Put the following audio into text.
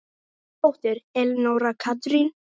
Þín dóttir, Elenóra Katrín.